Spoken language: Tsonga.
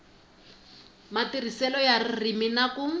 matirhiselo ya ririmi na ku